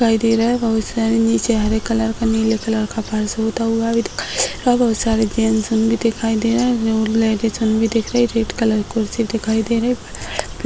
दिखाई दे रहा है बहुत सारे निची हरे कलर का नीले कलर का फर्श भी दिखाई दे रहा है बहुत सारे जेंट्स दिखाई दे रहा है रेड कलर की कुर्सी दिखाई दे रही है।